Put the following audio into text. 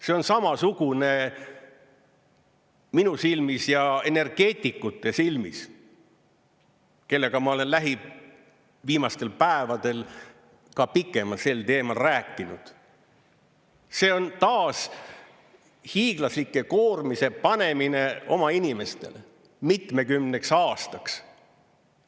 See on samasugune minu silmis ja energeetikute silmis, kellega ma olen viimastel päevadel ka pikemalt sel teemal rääkinud, see on taas hiiglaslike koormiste panemine oma inimestele mitmekümneks aastaks.